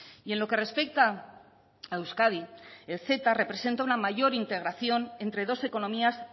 y en lo que respecta a euskadi el ceta representa una mayor integración entre dos economías